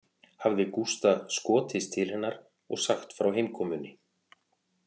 Hafði Gústa skotist til hennar og sagt frá heimkomunni